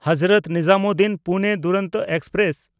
Hazrat ᱱᱤᱡᱟᱢᱩᱫᱽᱫᱤᱱ–ᱯᱩᱱᱮ Duronto express